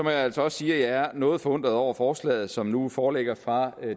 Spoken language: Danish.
jeg altså også sige at jeg er noget forundret over forslaget som nu foreligger fra